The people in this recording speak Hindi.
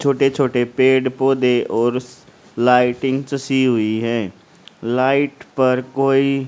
छोटे छोटे पेड़ पौधे और लाइटिंग सीई हुई है लाइट पर कोई--